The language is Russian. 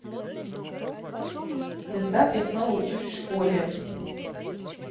стендап я снова учусь в школе